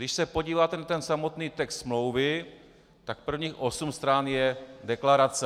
Když se podíváte na ten samotný text smlouvy, tak prvních osm stran je deklarace.